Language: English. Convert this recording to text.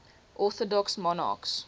orthodox monarchs